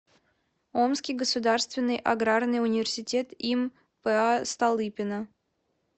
омский государственный аграрный университет им па столыпина